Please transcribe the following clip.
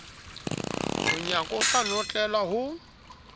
monyako o sa notlelwa ho